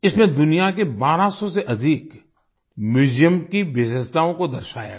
इसमें दुनिया के 1200 से अधिक Museumsकी विशेषताओं को दर्शाया गया